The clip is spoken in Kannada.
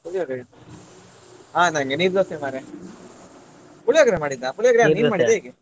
ಪುಳಿಯೋಗರೆ ಹಾ ನಂಗೆ ನೀರ್ ದೋಸೆ ಮಾರ್ರೆ ಪುಳಿಯೋಗರೆ ಮಾಡಿದ್ದ ಪುಳಿಯೋಗರೆ ಯಾರ್ ನೀನ್ ಮಾಡಿದ್ದ ಹೇಗೆ?